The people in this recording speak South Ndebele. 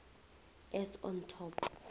as on top